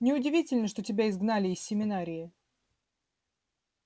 неудивительно что тебя изгнали из семинарии